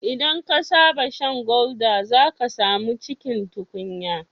Idan ka saba shan gulder, zaka samu cikin tukunya